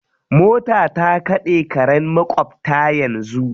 Mota ta kaɗe karen maƙwabta yanzu.